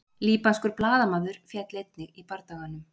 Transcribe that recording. Líbanskur blaðamaður féll einnig í bardaganum